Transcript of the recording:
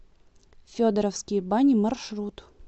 федоровские бани маршрут